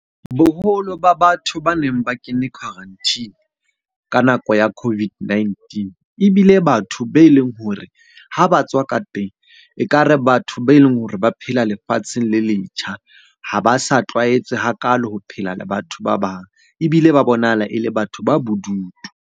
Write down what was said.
Boholo ba batho ba neng ba kene quarantine ka nako ya COVID-19 ebile batho be leng hore ha ba tswa ka teng, ekare batho be leng hore ba phela lefatsheng le letjha. Ha ba sa tlwaetse hakalo ho phela le batho ba bang, ebile ba bonahala e le batho ba bodutu.